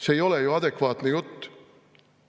See ei ole ju adekvaatne jutt.